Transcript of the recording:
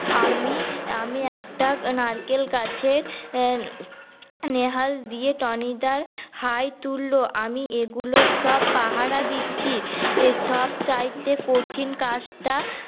আমি আমি একটা নারকেল গাছে নেহা দিয়ে টনি দা হাই তুলল আমি এগুল সব পাহারা দিচ্ছি সব চাইতে কঠিন কাজটা